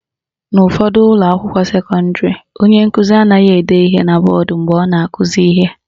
N'ụfọdụ ụlọakwụkwọ sekọndịrị, onye nkụzi anaghị ede ihe na mgbọodee ma ọ na-akụzi ihe.